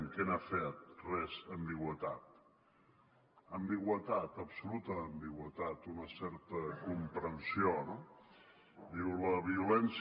què han fet res ambigüitat ambigüitat absoluta ambigüitat una certa comprensió no diu la violència